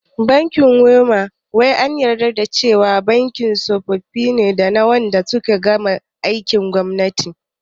Bankin WEMA wai an yarda da cewa bankin tsofi ne dana wanda suka gama aikin gwamnati